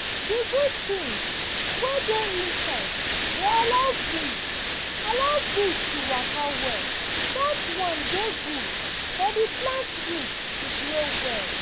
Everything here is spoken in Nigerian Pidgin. the good things wey dey inside dey allow breeze allow breeze to waka well that one dey good for the plant root to grow well.